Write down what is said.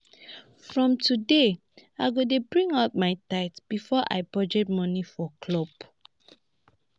from today i go dey bring out my tithe before i budget money for club